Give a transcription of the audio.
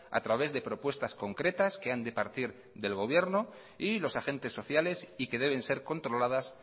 a través de propuestas concretas que han de partir del gobierno y los agentes sociales y que deben ser controladas